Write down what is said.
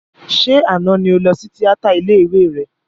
Ṣé àná ni o lọ tíátà ilé ìwé rẹ?